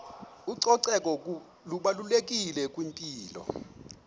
ucoceko lubalulekile kwimpilo